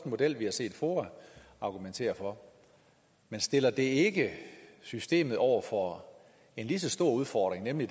model vi har set foa argumentere for stiller det ikke systemet over for en lige så stor udfordring nemlig